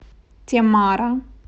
темара